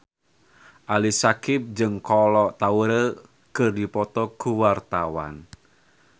Ali Syakieb jeung Kolo Taure keur dipoto ku wartawan